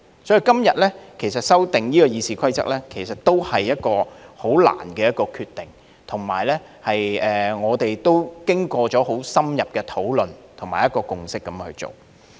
所以，今天修訂《議事規則》，也是一個很艱難的決定，而且是我們經過相當深入的討論和共識才作出的。